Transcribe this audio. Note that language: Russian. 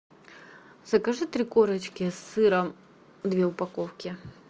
закажи три корочки с сыром две упаковки